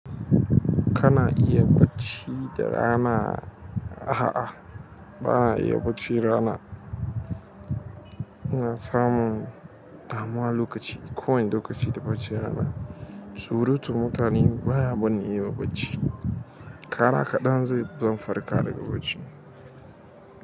Kana iya bacci da rana? A'a, ba'na iya bacci da rana. Na samu damuwa lokaci ko wani lokaci da baccin rana. Surutun mutane baya barni in yi bacci. Ƙara kaɗan zai, zan farka daga bacci.